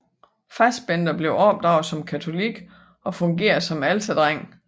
Fassbender blev opdraget som katolik og fungerede som alterdreng